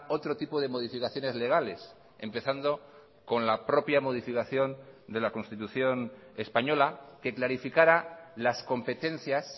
otro tipo de modificaciones legales empezando con la propia modificación de la constitución española que clarificara las competencias